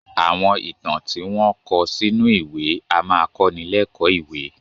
Àwọn ìtàn tí wọn kò sínú ìwé a máa kọ́ni lékòó ìwé